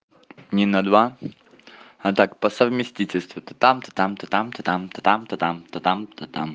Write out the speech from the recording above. не на два а так по совместительству то там то там то там то там то там то там то там